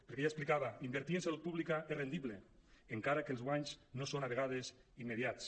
perquè ella explicava invertir en salut pública és rendible encara que els guanys no són a vegades immediats